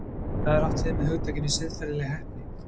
Hvað er átt við með hugtakinu siðferðileg heppni?